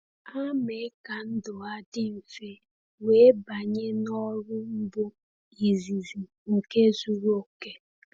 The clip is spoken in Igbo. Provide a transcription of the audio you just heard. Ha mee ka ndụ ha dị mfe wee banye n’ọrụ mbu izizi nke zuru oke.